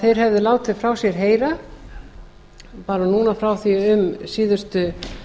þeir höfðu látið frá sér heyra bara núna frá því um síðustu